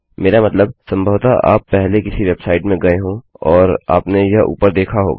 मेरा मतलब संभवतः आप पहले किसी वेबसाइट में गये हो और आपने यह ऊपर देखा होगा